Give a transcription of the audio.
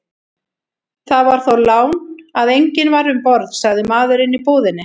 Það var þó lán að enginn var um borð, sagði maðurinn í búðinni.